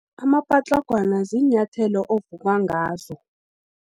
Amapatlagwana, ziinyathelo ovuka ngazo.